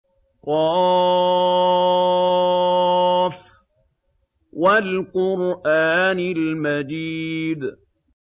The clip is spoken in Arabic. ق ۚ وَالْقُرْآنِ الْمَجِيدِ